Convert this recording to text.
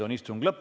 Kohtumiseni homme!